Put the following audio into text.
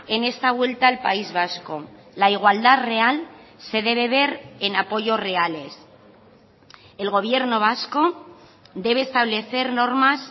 en esta vuelta al país vasco la igualdad real se debe ver en apoyos reales el gobierno vasco debe establecer normas